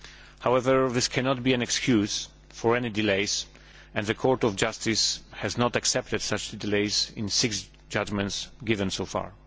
However, this cannot be an excuse for any delays, and the Court of Justice has not accepted such delays in six judgments so far.